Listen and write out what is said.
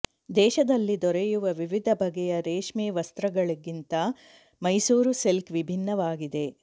ದೇಶದಲ್ಲಿ ದೊರೆಯುವ ವಿವಿಧ ಬಗೆಯ ರೇಷ್ಮೆ ವಸ್ತ್ರಗಳಿಗಿಂತ ಮೈಸೂರು ಸಿಲ್ಕ್ ವಿಭಿನ್ನವಾಗಿದೆ